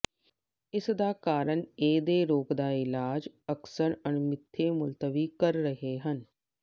ਇਸ ਦਾ ਕਾਰਨ ਇਹ ਦੇ ਰੋਗ ਦਾ ਇਲਾਜ ਅਕਸਰ ਅਣਮਿੱਥੇ ਮੁਲਤਵੀ ਕਰ ਰਹੇ ਹਨ